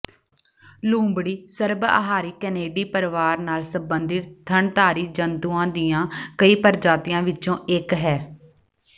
ਲੂੰਬੜੀ ਸਰਬਅਹਾਰੀ ਕੈਨੀਡੀ ਪਰਿਵਾਰ ਨਾਲ ਸੰਬੰਧਿਤ ਥਣਧਾਰੀ ਜੰਤੂਆਂ ਦੀਆਂ ਕਈ ਪ੍ਰਜਾਤੀਆਂ ਵਿਚੋਂ ਇੱਕ ਹੈ